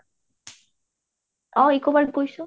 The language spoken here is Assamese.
অ eco park গৈছো